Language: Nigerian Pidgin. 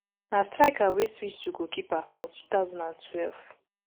na striker wey switch to goalkeeper for two thousand and twelve